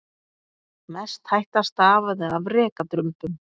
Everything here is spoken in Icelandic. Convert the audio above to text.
Mest hætta stafaði af rekadrumbum.